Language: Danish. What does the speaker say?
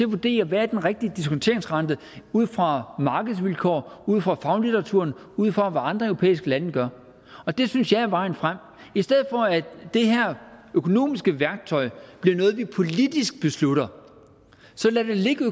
vurdere hvad den rigtige diskonteringsrente er ud fra markedsvilkår ud fra faglitteraturen ud fra hvad andre europæiske lande gør det synes jeg er vejen frem i stedet for at det her økonomiske værktøj bliver noget vi politisk beslutter så lad det ligge